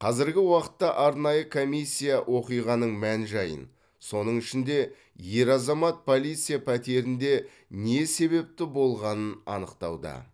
қазіргі уақытта арнайы комиссия оқиғаның мән жайын соның ішінде ер азамат полиция пәтерінде не себепті болғанын анықтауда